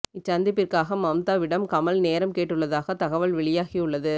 இச்சந்திப்பிற்காக மம்தாவிடம் கமல் நேரம் கேட்டுள்ளதாக தகவல் வெளியாகி உள்ளது